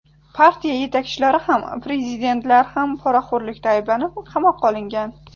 Partiya yetakchilari ham, prezidentlar ham poraxo‘rlikda ayblanib qamoqqa olingan.